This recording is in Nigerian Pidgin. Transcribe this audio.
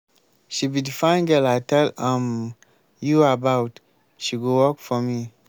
she be the fine girl i tell um you about she go work for me